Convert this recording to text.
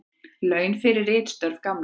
Laun fyrir ritstörf Gamla.